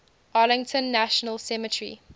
arlington national cemetery